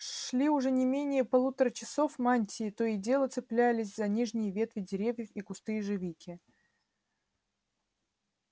шли уже не менее полутора часов мантии то и дело цеплялись за нижние ветви деревьев и кусты ежевики